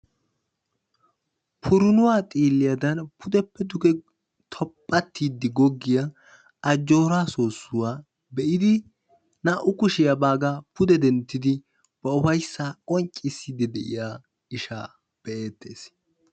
Purunnuwa xiiliyaadan pudeppe duge tophattiidi goggiya ajjooraa soossuwa be'iidi naa'u kushiya baagaa pude denttidi ba ufayssaa qonccissdi de'iya ishaa be'ettees.